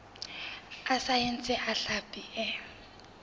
a saense a hlapi e